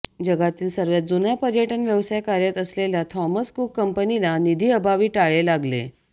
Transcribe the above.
जगातील सर्वात जुन्या पर्यटन व्यवसायात कार्यरत असलेल्या थॉमस कुक कंपनीला निधीअभावी टाळे लागले